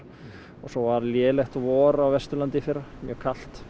og svo var lélegt vor á Vesturlandi í fyrra mjög kalt